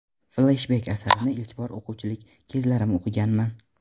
Fleshbek Asarni ilk bor o‘quvchilik kezlarim o‘qiganman.